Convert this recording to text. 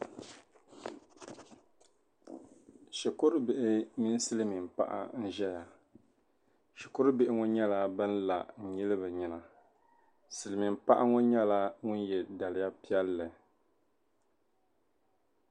shikurubihi mini silimiin'paɣa n-ʒeya shikurubihi ŋɔ nyɛla ban n-la n-nyili bɛ nyina silimiin'paɣa ŋɔ nyɛla ŋun n-ye daliya piɛlli